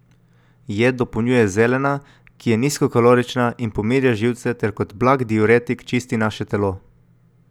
Jed dopolnjuje zelena, ki je nizkokalorična in pomirja živce ter kot blag diuretik čisti naše telo.